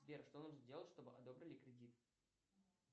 сбер что нужно делать чтобы одобрили кредит